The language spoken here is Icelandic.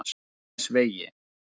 Langanesvegi